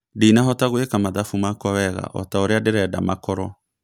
Ndinahota gwĩka mathabu makwa wega otaũrĩa nderenda makorwo